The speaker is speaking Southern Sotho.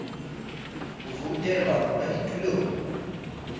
o voutelwa ho ba ditulong